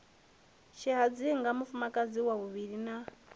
tshihadzinga mufumakadzi wa vhuvhili na